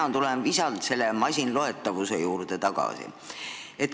Mina tulen visalt selle masinloetavuse juurde tagasi.